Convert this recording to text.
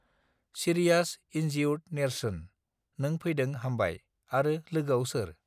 serious इनजिउर्द नेर्सोन नों फैदों हामबाय आरो लोगोआव सोर